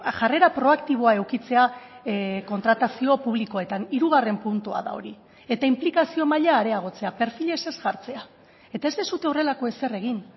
jarrera proaktiboa edukitzea kontratazio publikoetan hirugarren puntua da hori eta inplikazio maila areagotzea perfilez ez jartzea eta ez duzue horrelako ezer egin